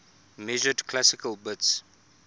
measured classical bits